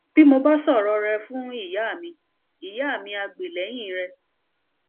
bí mo bá sọrọ rẹ fún ìyá mi ìyá mi a gbè lẹyìn rẹ